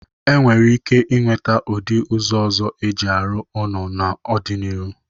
E nwere ike inweta ụdị ụzọ ọzọ e ji arụ ụnọ n'ọ dị n'iru.